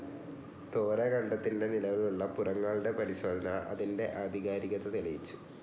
തോര ഖണ്ഡത്തിൻ്റെ നിലവിലുള്ള പുറങ്ങളുടെ പരിശോധന അതിൻ്റെ ആധികാരികത തെളിയിച്ചു.